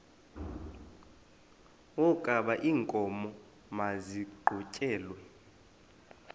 wokaba iinkomo maziqhutyelwe